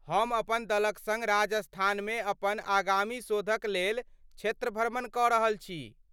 हम अपन दलक सङ्ग राजस्थानमे अपन आगामी शोधक लेल क्षेत्र भ्रमण कऽ रहल छी।